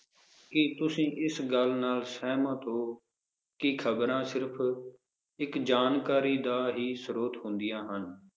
ਕਿ ਤੁਸੀਂ ਇਸ ਗੱਲ ਨਾਲ ਸਹਿਮਤ ਹੋ ਕਿ ਖਬਰਾਂ ਸਿਰਫ ਇਕ ਜਾਣਕਾਰੀ ਦਾ ਹੀ ਸਰੋਥ ਹੁੰਦੀਆਂ ਹਨ?